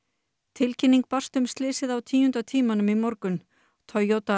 tilkynning barst um slysið á tíunda tímanum í morgun Toyota